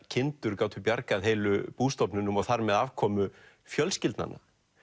kindur gátu bjargað heilu bústofnunum og þar með afkomu fjölskyldnanna